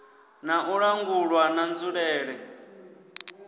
na u langulwa na nzulele